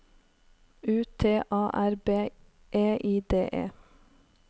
U T A R B E I D E